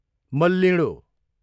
मल्लिडोँ